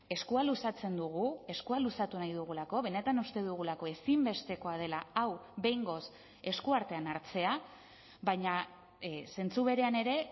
eskua luzatzen dugu eskua luzatu nahi dugulako benetan uste dugulako ezinbestekoa dela hau behingoz eskuartean hartzea baina zentzu berean ere